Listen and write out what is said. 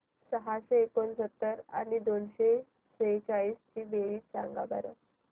सहाशे एकोणसत्तर आणि दोनशे सेहचाळीस ची बेरीज सांगा बरं